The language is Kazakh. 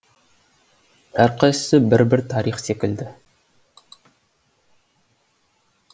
әр қайсысы бір бір тарих секілді